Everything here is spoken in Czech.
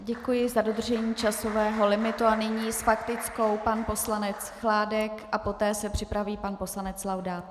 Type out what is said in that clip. Děkuji za dodržení časového limitu a nyní s faktickou pan poslanec Chládek a poté se připraví pan poslanec Laudát.